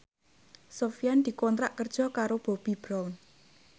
Sofyan dikontrak kerja karo Bobbi Brown